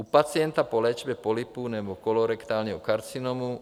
u pacienta po léčbě polypů nebo kolorektálního karcinomu;